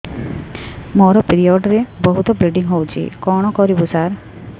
ମୋର ପିରିଅଡ଼ ରେ ବହୁତ ବ୍ଲିଡ଼ିଙ୍ଗ ହଉଚି କଣ କରିବୁ ସାର